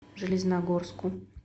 железногорску